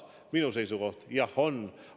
Minu seisukoht: jah, on.